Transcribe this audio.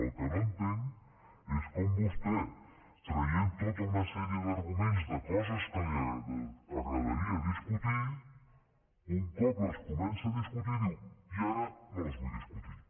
el que no entenc és com vostè traient tota una sèrie d’arguments de coses que li agradaria discutir un cop les comença a discutir diu i ara no les vull discutir